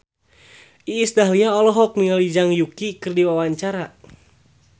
Iis Dahlia olohok ningali Zhang Yuqi keur diwawancara